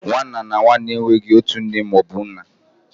Nwa nna na nwa nne enweghị otu nne ma ọ bụ nna